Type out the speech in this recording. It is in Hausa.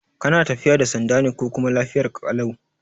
Kana tafiya da sanda ne ko kuma lafiyarka ƙalau?